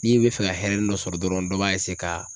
N'i bɛ fɛ ka hɛrɛnin dɔ sɔrɔ dɔrɔn dɔ b'a ka.